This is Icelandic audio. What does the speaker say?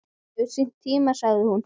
Allt hefur sinn tíma, sagði hún.